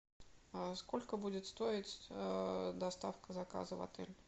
сколько будет стоить доставка заказа в отель